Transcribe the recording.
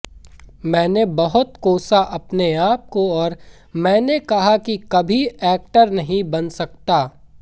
मैंने बहुत कोसा अपने आप को और मैंने कहा कि कभी एक्टर नहीं बन सकता